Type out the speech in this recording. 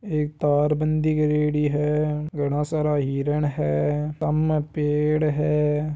एक तार बंदी करेड़ी है इतना सारा हिरन है सामने पेड़ है।